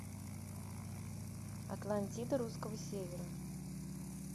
атлантида русского севера